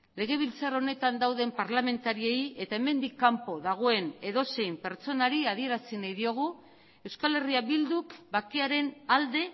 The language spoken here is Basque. legebiltzar honetan dauden parlamentariei eta hemendik kanpo dagoen edozein pertsonari adierazi nahi diogu euskal herria bilduk bakearen alde